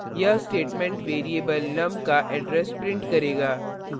यह statement variable num का address print करेगा